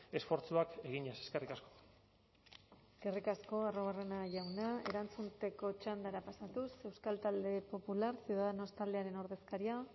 esfortzuak eginez eskerrik asko eskerrik asko arruabarrena jauna erantzuteko txandara pasatuz euskal talde popular ciudadanos taldearen ordezkaria